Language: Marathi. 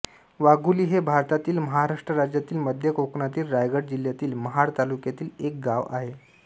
वाघोली हे भारतातील महाराष्ट्र राज्यातील मध्य कोकणातील रायगड जिल्ह्यातील महाड तालुक्यातील एक गाव आहे